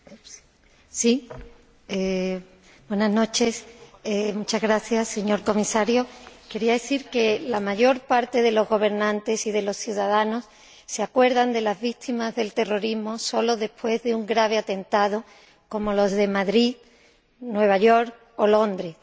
Señora Presidenta, señor Comisario, quería decir que la mayor parte de los gobernantes y de los ciudadanos se acuerdan de las víctimas del terrorismo sólo después de un grave atentado como los de Madrid, Nueva York o Londres.